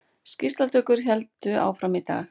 Skýrslutökur héldu áfram í dag